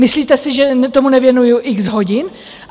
Myslíte si, že tomu nevěnuji x hodin?